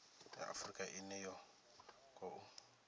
ya afurika ine ya khou